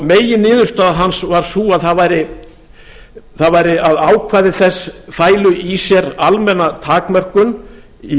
meginniðurstaða hans var sú að ákvæði þess fælu í sér almenna takmörkun í